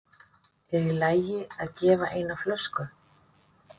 Er í lagi að gefa eina flösku?